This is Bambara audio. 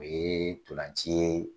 O ye ntolanci ye